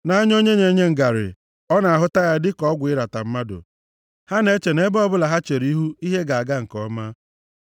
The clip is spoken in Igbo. Nʼanya onye na-enye ngarị ọ na-ahụta ya dịka ọgwụ ịrata mmadụ, ha na-eche nʼebe ọbụla ha chere ihu ihe ga-aga nke ọma.